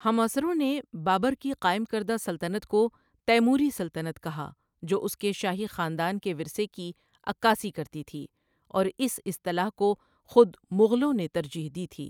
ہم عصروں نے بابر کی قائم کردہ سلطنت کو تیموری سلطنت کہا، جو اس کے شاہی خاندان کے ورثے کی عکاسی کرتی تھی، اور اس اصطلاح کو خود مغلوں نے ترجیح دی تھی۔